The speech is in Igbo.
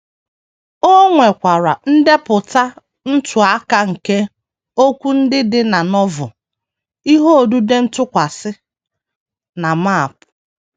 O nwekwara ndepụta ntụaka nke okwu ndị dị na Novel, ihe odide ntụkwasị, na map.